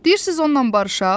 Deyirsiz onunla barışaq?